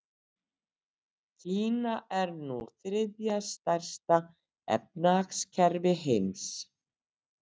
Kína er nú þriðja stærsta efnahagskerfi heims.